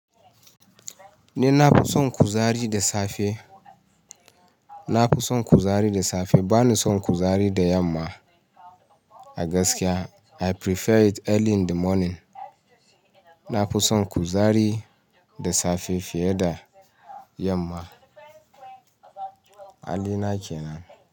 Ni na fison ku zari da safe. Na fison ku zari da safe, ba ni son ku zari da yamma. A gaskiya I prefer it early in the morning. Na kuson ku zari da safe fiye da yamma. Hali na ke nan.